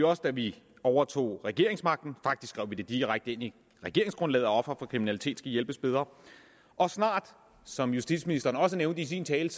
også da vi overtog regeringsmagten faktisk vi direkte ind i regeringsgrundlaget at ofre for kriminalitet skal hjælpes bedre og snart som justitsministeren også nævnte i sin tale